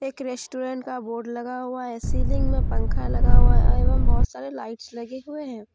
एक रेस्टोरेंट का बोर्ड लगा हुआ है सीलिंग में पंखा लगा हुआ है एवं बहुत सारे लाइट्स लगे हुए हैं।